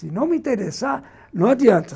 Se não me interessar, não adianta.